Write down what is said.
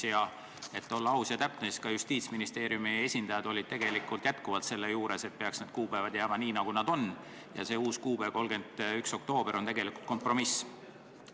Ja et olla aus ja täpne, märgin, et Justiitsministeeriumi esindajad olid tegelikult jätkuvalt seisukohal, et peaks need kuupäevad jääma nii, nagu nad on, ja see uus kuupäev, 31. oktoober on tegelikult kompromiss.